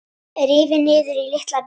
Rifin niður í litla bita.